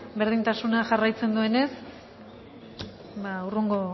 berdintasuna jarraitzen duenez ba hurrengo